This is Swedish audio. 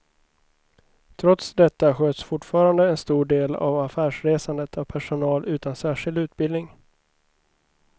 Trots detta sköts fortfarande en stor del av affärsresandet av personal utan särskild utbildning.